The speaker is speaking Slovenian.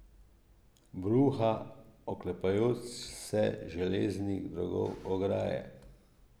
Bruha, oklepajoč se železnih drogov ograje.